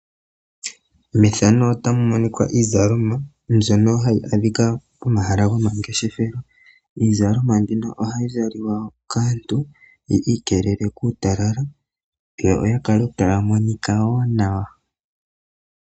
Methano otamu monika iizalomwa mbyoka hayi adhika pomahala gomangeshefelo. Iizalomwa mbino ohayi zalikwa kaantu ya ikelele kuutalala yoya kale wo taya monika nawa.